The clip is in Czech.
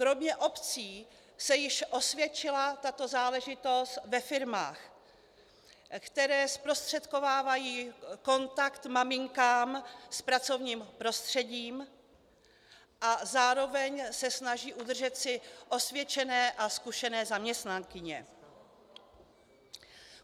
Kromě obcí se již osvědčila tato záležitost ve firmách, které zprostředkovávají kontakt maminkám s pracovním prostředím a zároveň se snaží udržet si osvědčené a zkušené zaměstnankyně.